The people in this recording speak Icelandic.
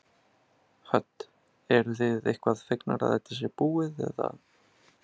Hödd: Eruð þið eitthvað fegnar að þetta sé búið eða?